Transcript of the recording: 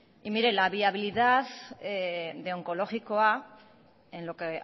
y mire la viabilidad de onkologikoa en lo que